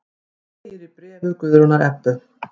Segir í bréfi Guðrúnar Ebbu.